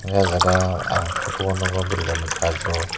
hingke ah jaga ang photo o nogo boroi rok ni kajo.